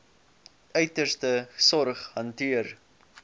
uiterste sorg hanteer